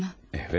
Evet.